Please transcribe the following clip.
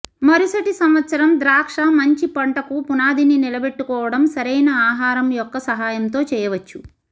మరుసటి సంవత్సరం ద్రాక్ష మంచి పంటకు పునాదిని నిలబెట్టుకోవడం సరైన ఆహారం యొక్క సహాయంతో చేయవచ్చు